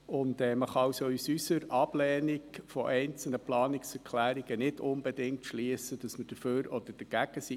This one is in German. Man kann aus unserer Ablehnung einzelner Planungserklärungen nicht unbedingt schliessen, dass wir dafür oder dagegen sind.